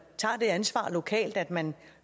tager det ansvar lokalt at man